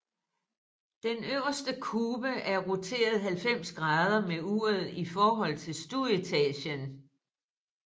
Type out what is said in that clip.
Den øverste kube er roteret 90 grader med uret i forhold til stueetagen